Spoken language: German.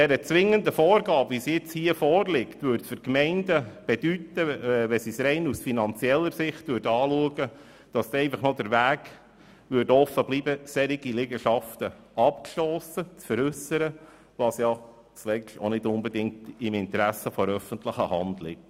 Bei zwingenden Vorgaben seitens des Kantons würde den Gemeinden oftmals aus rein finanzieller Sicht einzig der Weg bleiben, derartige Liegenschaften abzustossen, was nicht im Interesse der öffentlichen Hand liegt.